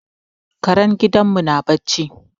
Karen gidan mu na barci